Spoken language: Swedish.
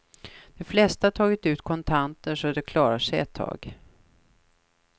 De flesta har tagit ut kontanter så att de klarar sig ett tag.